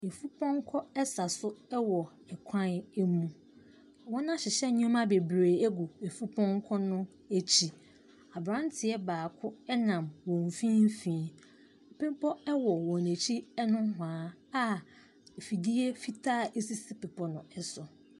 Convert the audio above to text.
Afipɔnkɔ sa so wɔ kwan mu. Wɔahyehyɛ nneɛma bebree agu afupɔnkɔ no akyi. Aberanteɛ baako nam wɔn mfimfini. Bepɔ wɔ wɔn akyi nohoa a afidie fitaa sisi bepɔ no so.